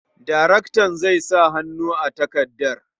Daraktan zai sa hannu a takardar.